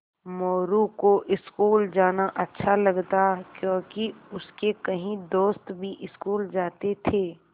मोरू को स्कूल जाना अच्छा लगता क्योंकि उसके कई दोस्त भी स्कूल जाते थे